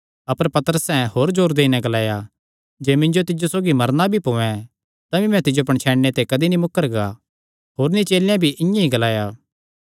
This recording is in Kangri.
अपर पतरसैं होर जोर देई नैं ग्लाया जे मिन्जो तिज्जो सौगी मरना भी पोयैं तमी मैं तिज्जो पणछैणने ते कदी नीं मुकरगा होरनी चेलेयां भी इआं ई ग्लाया